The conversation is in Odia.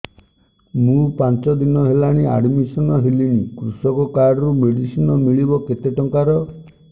ମୁ ପାଞ୍ଚ ଦିନ ହେଲାଣି ଆଡ୍ମିଶନ ହେଲିଣି କୃଷକ କାର୍ଡ ରୁ ମେଡିସିନ ମିଳିବ କେତେ ଟଙ୍କାର